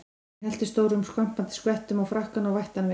Hann hellti stórum skvampandi skvettum á frakkann og vætti hann vel.